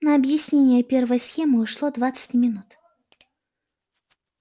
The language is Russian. на объяснение первой схемы ушло двадцать минут